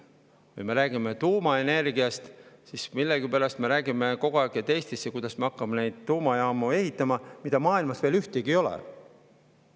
Kui me räägime tuumaenergiast, siis millegipärast me räägime kogu aeg, kuidas me hakkame Eestisse ehitama neid tuumajaamu, mida maailmas veel ühtegi ei ole.